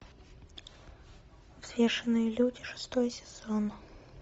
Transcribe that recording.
взвешенные люди шестой сезон